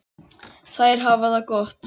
Þær hafa það gott.